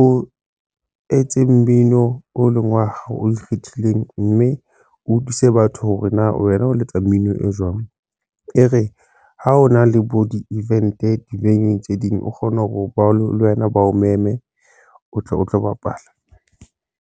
o etseng mmino o leng wa hao o ikgethileng mme o thuse batho hore na wena o letsa mmino e jwang. E re ha o na le bo di event Dibakeng tse ding, o kgone ho ba le wena ba o mo eme, o tle o tlo bapala.